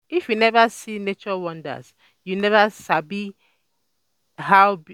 If you never see nature wonders, you never sabi how